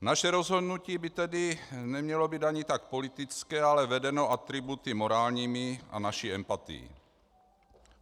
Naše rozhodnutí by tedy nemělo být ani tak politické, ale vedené atributy morálními a naší empatií.